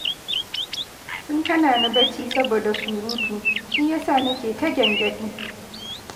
Sun hana ni bacci saboda surutu, shi ya sa nake ta gyangyaɗi